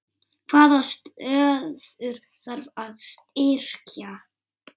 Hvaða stöður þarf að styrkja?